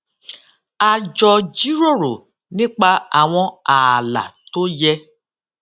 a jọ jíròrò nipa àwọn ààlà tó yẹ